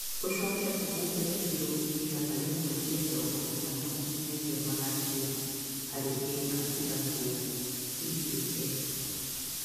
Ũcoke ũhumbĩre kiro igana rĩmwe rĩa mĩrongo ĩtano nginyagia magana merĩ harĩ ĩka igana rĩa CAN